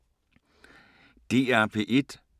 DR P1